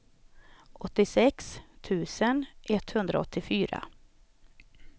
åttiosex tusen etthundraåttiofyra